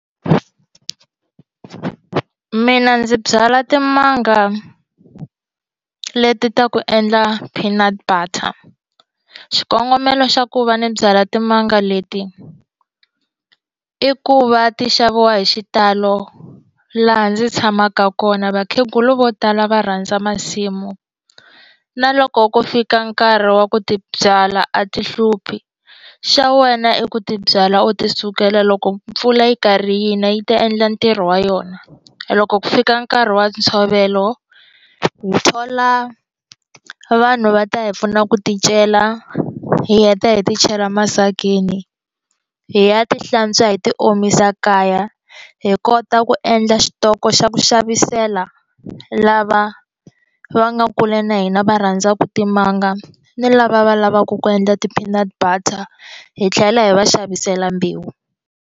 Mina ndzi byala timanga leti ta ku endla peanut butter xikongomelo xa ku va ni byala timanga leti i ku va ti xaviwa hi xitalo laha ndzi tshamaka kona vakhegula vo tala va rhandza masimu na loko ku fika nkarhi wa ku ti byala a ti hluphi xa wena i ku ti byala u ti sukela loko mpfula yi karhi yi na yi ta endla ntirho wa yona loko ku fika nkarhi wa ntshovelo hi thola vanhu va ta hi pfuna ku ti cela hi heta hi ti chela masakeni hi ya ti hlantswa hi ti omisa kaya hi kota ku endla xitoko xa ku xavisela lava va nga kule na hina va rhandzaka timanga ni lava va lavaka ku endla ti peanut butter hi tlhela hi va xavisela mbewu.